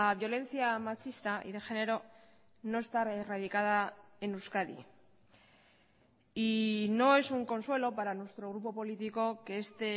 violencia machista y de género no está erradicada en euskadi y no es un consuelo para nuestro grupo político que este